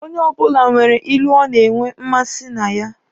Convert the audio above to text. Onye ọbụla nwere ilu o na-enwe mmasi na ya.